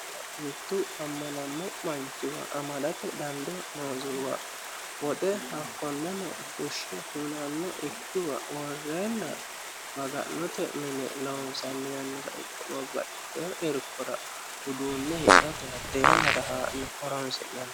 mittu amanammo manchiwa amadate dandoo noosihuwa woxe hakkoneno fushshe hunanno ikkiwa worrenna maga'note mine loonsanni yannara ikko babbaxitino irkora uduunne hidhate hatte yannara haa'ne horonsi'nanni